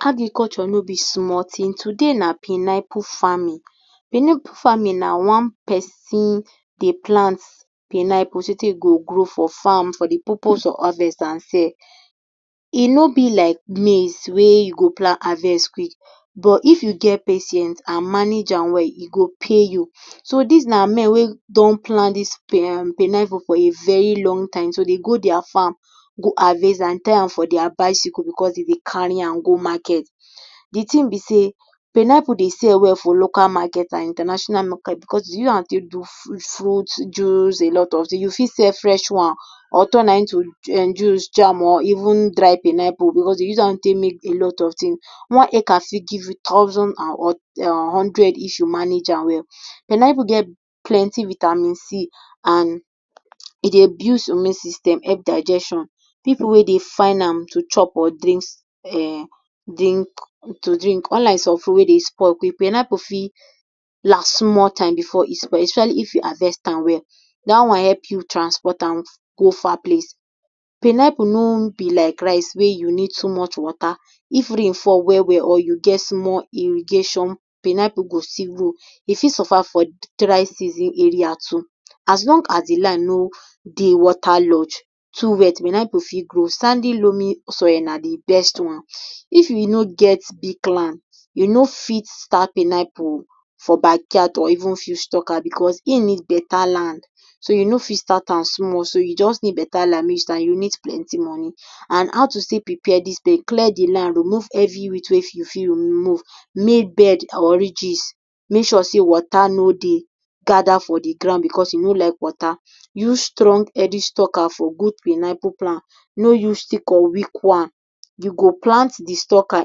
Agriculture no be small thing. Today na pineapple farming. Pineapple farming na one pesin dey plant pineapple so tey e go grow for farm for the purpose of harvest and sell. E no be like maize wey you go plant, harvest quick. But if you get patience and manage am well, e go pay you. So, des na men wey don plant dis um pineapple for a very long time. So, they go their farm, go harvest am, tie am for their bicycle becos de dey carry am go market. The thing be sey, pineapple dey sell well for local market and international market becos you use am take do fruit fruit juice, alot of things. You fit sell fresh ones or turn am into juice, jam or even dry pineapple becos de use am take make alot of things. One acres fit give you thousand and um hundred issue, If you manage am well. Pineapple get plenty vitamin C and e dey build immune system, help digestion. Pipu wey dey find am to chop or drink um drink to drink. Unlike some fruit wey dey spoil quick, pineapple fit last small time before e spoil especially if you harvest am well. Dat one help you transport am go far place. Pineapple no be like rice wey you need too much water. If rain fall well well or you get small irrigation, pineapple go still grow. E fit survive for dry season area too. As long as the land no dey water lodged, too wet, pineapple fit grow. Sandy loamy soil na the best one. If you no get big land, you no fit start pineapple for backyard or even few Stucker becos im need beta land. So, you no fit start am small. So, you just need beta land, mey you start. You need plenty money. And how to still do take prepare dis place? Clear the land, remove every weed wey fit you fit remove. Make bed or ridges, make sure sey water no dey gather for the ground becos e no like water. Use strong healthy stucker for good pineapple plant. No use sick or weak one. You go plant the stucker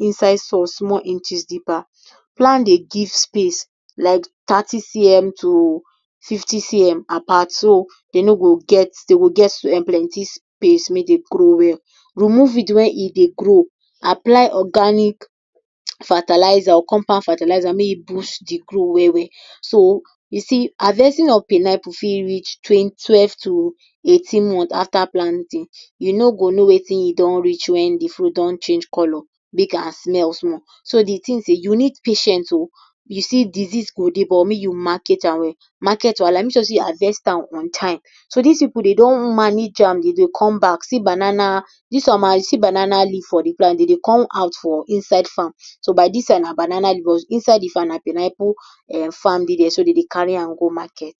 inside soil, small inches deeper. Plant dey give space like thirty cm to fifty cm apart. So, de no go get, de go get um plenty space um make dem grow well. Remove weed were e dey grow, apply organic fertilizer or compound fertilizer, mey e boost the growth well well. So, you see, harvesting of pineapple fit reach twelve to eighteen month after planting. You no go know wetin e don don reach, wen the fruit don change colour. Make i smell small. So, the things um, you need patience oh. You see disease go dey but make you manage am well. Market wahala, make sure sey you harvest am on time. So, dis pipu de don manage am, e dey come back. See banana, dis one na, see banana leaf for the ground. De dey come out for inside farm. So, by dis side na banana, inside the farm na pineapple farm dey dere. So de dey carry am go market.